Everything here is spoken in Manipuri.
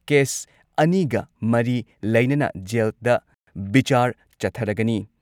ꯀꯦꯁ ꯑꯅꯤꯒ ꯃꯔꯤ ꯂꯩꯅꯅ ꯖꯦꯜꯗ ꯕꯤꯆꯥꯔ ꯆꯠꯊꯔꯒꯅꯤ ꯫